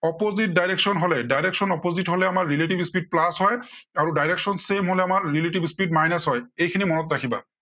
opposite direction হলে direction opposite হলে আমাৰ relative speed plus হয় আৰু direction same হলে আমাৰ relative speed minus হয়। এইখিনি মনত ৰাখিবা।